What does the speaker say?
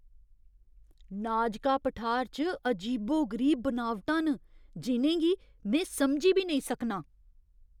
नाजका पठार च अजीबो गरीब बनावटां न जि'नें गी में समझी बी नेईं सकनां!